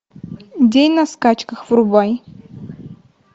день на скачках врубай